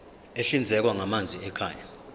ahlinzekwa ngamanzi ekhaya